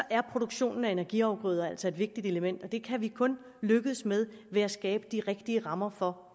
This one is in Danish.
er produktionen af energiafgrøder altså et vigtigt element og det kan vi kun lykkes med ved at skabe de rigtige rammer for